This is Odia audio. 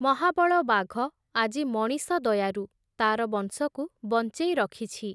ମହାବଳ ବାଘ, ଆଜି ମଣିଷ ଦୟାରୁ, ତା’ର ବଂଶକୁ ବଞ୍ଚେଇ ରଖିଛି ।